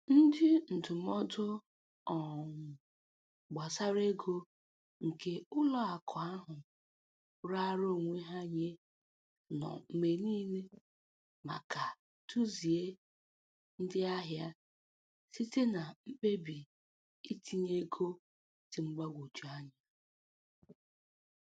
Ndị ndụmọdụ um gbasara ego nke ụlọ akụ ahụ raara onwe ha nye nọ mgbe niile maka duzie ndị ahịa site na mkpebi itinye ego dị mgbagwoju anya.